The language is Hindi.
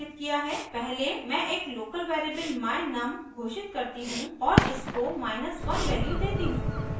पहले मैं एक लोकल वेरिएबल my_num घोषित करती हूँ और इसको 1 वैल्यू देती हूँ